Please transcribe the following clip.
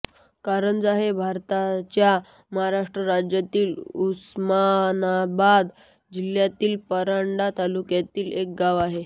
कारंजा हे भारताच्या महाराष्ट्र राज्यातील उस्मानाबाद जिल्ह्यातील परांडा तालुक्यातील एक गाव आहे